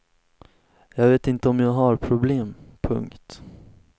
Jag vet inte om jag har problem. punkt